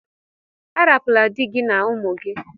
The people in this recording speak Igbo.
Arapula dị gị na ụmụ gị!